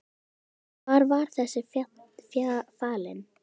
Sunna: Hvar var þessi falinn?